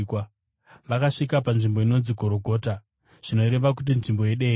Vakasvika panzvimbo inonzi Gorogota, (zvinoreva kuti Nzvimbo yeDehenya).